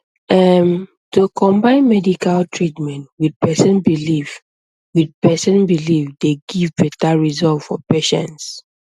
erm to combine medical treatment with person belief with person belief dey give better result for patients